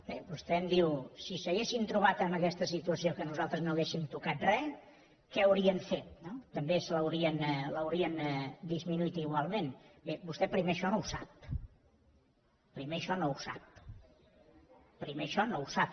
bé vostè em diu si s’haguessin trobat en aquesta situació que nosaltres no haguéssim tocat re què haurien fet també l’haurien disminuït igualment bé vostè primer això no ho sap primer això no ho sap